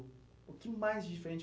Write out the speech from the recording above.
O que mais diferente?